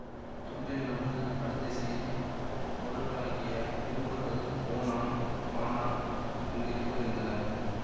தொண்டை நாட்டில் வடதிசையில் முரடர்களாகிய குறும்பர்கள் ஓணான் வாணான் என்று இருவர் இருந்தனர்